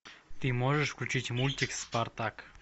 ты можешь включить мультик спартак